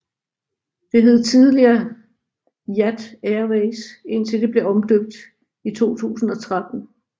Det hed tidligere Jat Airways indtil det blev omdøbt i 2013